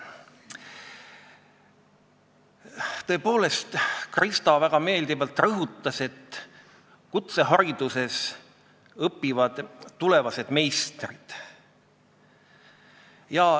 Tõepoolest, Krista väga meeldivalt rõhutas, et kutsehariduses õpivad tulevased meistrid.